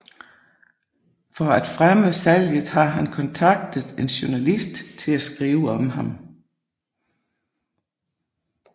For at fremme salget har han kontaktet en journalist til at skrive om ham